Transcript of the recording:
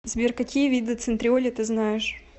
сбер какие виды центриоли ты знаешь